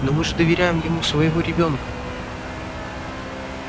но мы же доверяем ему своего ребёнка